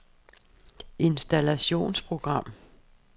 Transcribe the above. installationsprogram